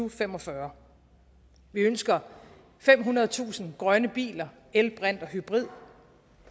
fem og fyrre vi ønsker femhundredetusind grønne biler el brint og hybrid